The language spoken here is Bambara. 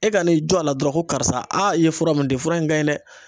E ka n'i jɔ a la dɔrɔn ko karisa, aa i ye fura mun di fura in ka ɲi dɛ!